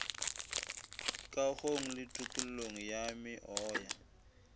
kagong le tokollong ya meoya